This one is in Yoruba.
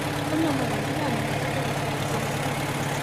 ó ní ọmọ nàìjíríà ni yín kó tóó di pé ẹ di ọmọlẹyìn kristi